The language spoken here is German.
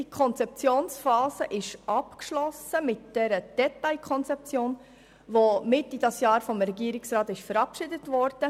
Die Konzeptionsphase ist mit der Detailkonzeption abgeschlossen, welche Mitte dieses Jahres vom Regierungsrat verabschiedet wurde.